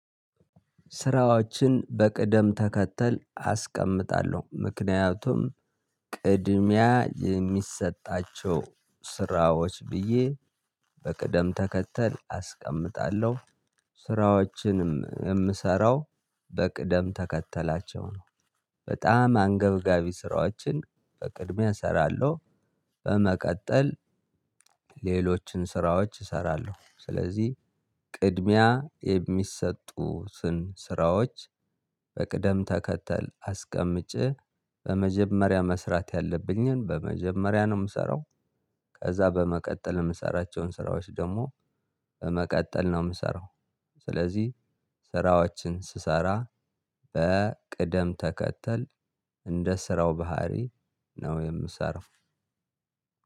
ስራዎችን በቅደም ተከተል አስቀምጣለሁ። ምክንያቱም ቅድሚያ የሚሰጣቸው ስራዎች ብዬ በቅደም ተከተል አስቀምጣለሁ። ስራዎችንም የምሰራው በቅደም ተከተላቸው ነው በጣም አንገብጋቢ ስራዎችን በቅድሚያ እሰራለሁ። በመቀጠል ሌሎችን ስራዎች እሰራለሁ። ስለዚህ ቅድሚያ የሚሰጡትን ስራዎች በቅደም ተከተል አስቀምጬ በመጀመሪያ መስራት ያለብኝን በመጀመሪያ ነው የምሰራው ከዛ በመቀጠል የምሰራቸውን ስራዎች ደግሞ በመቀጠል ነው የምሰራው ስለዚህ ስራዎችን ስሰራ በቅደም ተከተል እንደ ስራው ባህሪ ነው የምሰራው